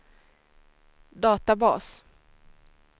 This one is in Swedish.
databas